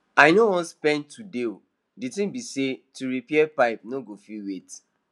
i no wan spend today o the thing be say to repair pipe no go fit wait